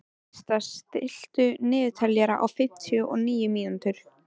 Systa, stilltu niðurteljara á fimmtíu og níu mínútur.